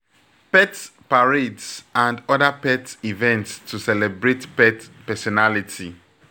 Pet parades and oda pet events to celebrate pet personality